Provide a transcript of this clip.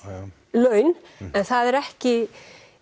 laun en það er ekki